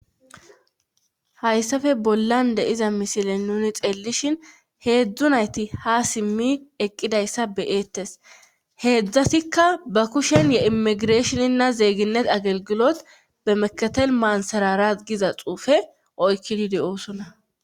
hayssafe bollan de'iza misile nuni xeelishhin heedzdzunayti ha simmi eqqidayssa beyeettes heedzdzasikka ba kushen ye immigireeshoninna zeeginet agelgilot bemeketel maansarara giza xuufe oykkidi de'oosona